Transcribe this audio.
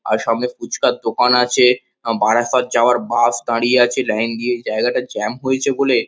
আর সামনে ফুচকার দোকান আছে। বারাসাত যাওয়ার বাস দাঁড়িয়ে আছে লাইন দিয়ে। জায়গাটা জ্যাম হয়েছে বলে --